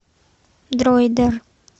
дроидер